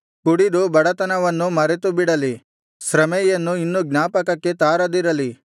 ಕುಡಿದು ಬಡತನವನ್ನು ಮರೆತುಬಿಡಲಿ ಶ್ರಮೆಯನ್ನು ಇನ್ನೂ ಜ್ಞಾಪಕಕ್ಕೆ ತಾರದಿರಲಿ